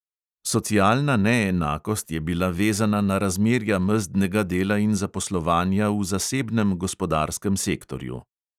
Socialna neenakost je bila vezana na razmerja mezdnega dela in zaposlovanja v zasebnem gospodarskem sektorju.